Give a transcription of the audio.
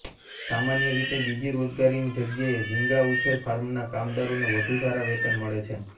સામાન્ય રીતે બીજી રોજગારીની જગ્યાએ ઝીંગા ઉછેર ફાર્મના કામદારોને વધુ સારા વેતન મળે છે